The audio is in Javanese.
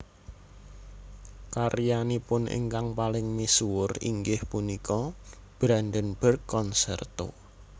Karyanipun ingkang paling misuwur inggih punika Brandenburg concerto